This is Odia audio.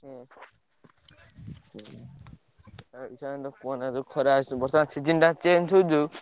ହଁ। ଆଉ କୁହନା ଯୋଉ ଖରା, ବର୍ଷା, ଶୀତ season ଟା change ହଉଛି ଯୋଉ।